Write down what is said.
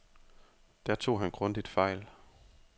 Der tog han grundigt fejl.